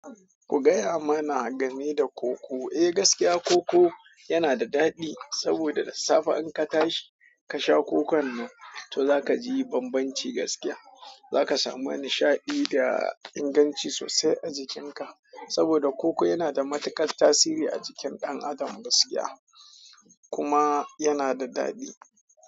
Ku gaya mana game da koko. Eh gaskiya koko yana da daɗi saboda da safe in ka tashi ka sha kokon nan to zaka ji bambanci gaskiya. Zaka samu nishaɗi da inganci sosai a jikinka saboda koko yana da matuƙar tasiri a jikin ɗan adam gaskiya kuna yana da dadi.